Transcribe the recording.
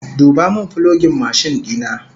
Duba min fulogin mashin dina!